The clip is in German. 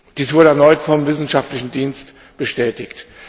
Dies wurde erneut vom wissenschaftlichen Dienst bestätigt.